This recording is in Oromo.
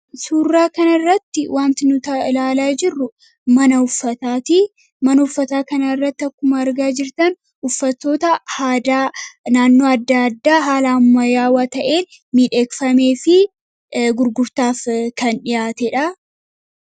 Suurraa kanarratti wanti nuta ilaalaa jirru mana uffataatti kana irratti akkuma argaa jirtan uffattoota naannoo adda addaa haala ammayaawwa ta'een miidheegfamee fi gurgurtaaf kan dhihaate dha.